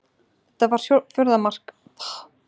Þetta var fjórða mark Högna í sumar.